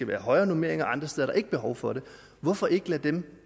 være højere normeringer og så er der ikke behov for det hvorfor ikke lave den